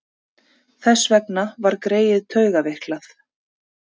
Þess vegna var greyið taugaveiklað.